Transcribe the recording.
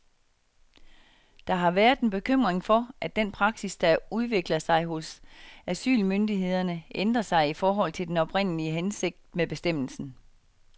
Der har været en bekymring for, at den praksis, der udvikler sig hos asylmyndighederne, ændrer sig i forhold til den oprindelige hensigt med bestemmelsen.